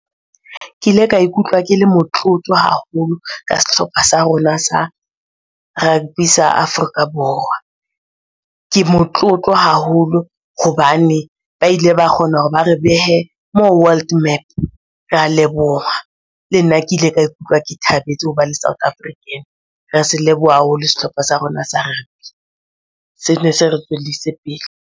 Ke le ka ikutlwa ke le motlotlo haholo ka sehlopha sa rona sa rugby sa Afrika Borwa. Ke motlotlo haholo hobane ba ile ba kgona hore ba re behe moo world map. Rea leboha, le nna ke ile ka ikutlwa ke thabetse ho ba le South African. Re se leboha ha holo sehlopha sa rona sa rugby. Sene se re tswellise pele.